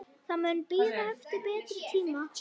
Það mun bíða betri tíma.